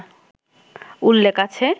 উল্লেখ আছে